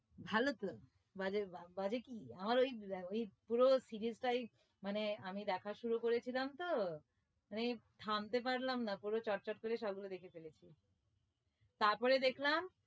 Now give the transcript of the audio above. ভালো তো বাজে বাজে কি আমার ওই ওই পুরো series টাই মানে আমি দেখা শুরু করেছিলাম তো তাই থামতে পারলাম না পুরো চট চট করে সব দেখে ফেলেছি তারপরে দেখলাম